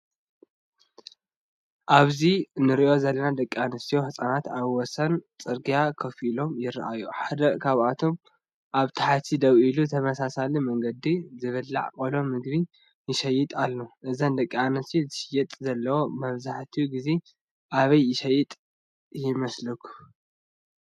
ኣብዚ እንርእዮ ዘለና ደቂ ኣንስትዮን ህጻናትን ኣብ ወሰን ጽርግያ ኮፍ ኢሎም ይረኣዩ። ሓደ ካብኣቶም ኣብ ታሕቲ ደው ኢሉ ብተመሳሳሊ መንገዲ ዝብላዕ ቆሎ ምግቢ ይሸይጥ ኣሎ። እዘን ደቂ ኣንስትዮ ዝሸጥኦ ዘለዋ መብዛሕትኡ ግዜ ኣበይ ዝሽየጥ ይመስለኩም?